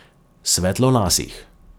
Svetlolasih.